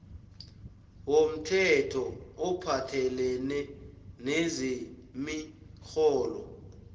womthetho ophathelene nezemirholo